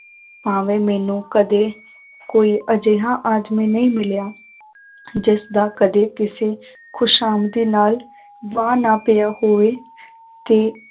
ਭਾਵੇਂ ਮੈਨੂੰ ਕਦੇ ਕੋਈ ਅਜਿਹਾ ਆਦਮੀ ਨਹੀਂ ਮਿਲਿਆ, ਜਿਸਦਾ ਕਦੇ ਕਿਸੇ ਖ਼ੁਸ਼ਾਮਦੀ ਨਾਲ ਵਾਹ ਨਾ ਪਿਆ ਹੋਵੇ ਕਿ